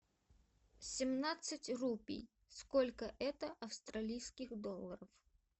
семнадцать рупий сколько это австралийских долларов